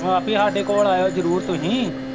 ਹਾਂ ਵੀ ਸਾਡੇ ਕੋਲ ਆਇਓ ਜ਼ਰੂਰ ਤੁਸੀਂ